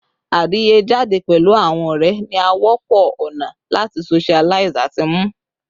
Adiye jade pẹlu awọn ọrẹ ni a wọpọ ona lati socialize ati mnu